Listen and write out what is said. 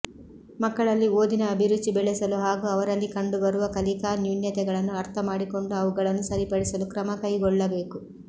ಮಕ್ಕಳಲ್ಲಿ ಓದಿನ ಅಭಿರುಚಿ ಬೆಳೆಸಲು ಹಾಗೂ ಅವರಲ್ಲಿ ಕಂಡುಬರುವ ಕಲಿಕಾ ನ್ಯೂನತೆಗಳನ್ನು ಅರ್ಥ ಮಾಡಿಕೊಂಡು ಅವುಗಳನ್ನು ಸರಿಪಡಿಸಲು ಕ್ರಮಕೈಗೊಳ್ಳಬೇಕು